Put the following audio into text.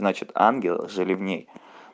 значит ангелы жили в ней